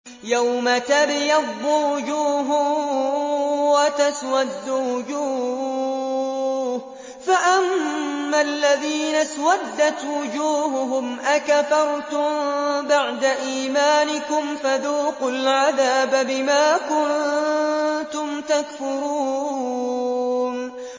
يَوْمَ تَبْيَضُّ وُجُوهٌ وَتَسْوَدُّ وُجُوهٌ ۚ فَأَمَّا الَّذِينَ اسْوَدَّتْ وُجُوهُهُمْ أَكَفَرْتُم بَعْدَ إِيمَانِكُمْ فَذُوقُوا الْعَذَابَ بِمَا كُنتُمْ تَكْفُرُونَ